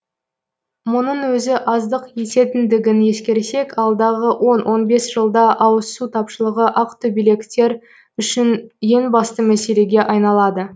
мұның өзі аздық ететіндігін ескерсек алдағы он он бес жылда ауызсу тапшылығы ақтөбеліктер үшін ең басты мәселеге айналады